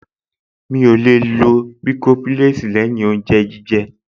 Mi ò lè lo bàìkọ́ḿpúlẹ́ẹ̀sì lẹ́yìn oúnjẹ jíjẹ